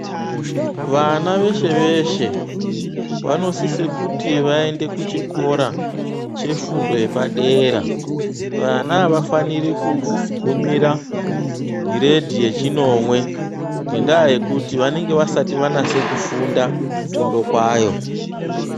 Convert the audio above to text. Vana veshe-veshe vanosise kuti vaende chefundo yepadera. Vana avafaniri kugumira giredhi yechinomwe ngendaa yekuti vanenge vasati vanyatse kufunda fundo kwayo.